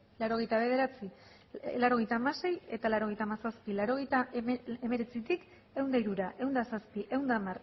laurogeita bederatzi laurogeita hamasei eta laurogeita hamazazpi laurogeita hemeretzitik ehun eta hirura ehun eta zazpi ehun eta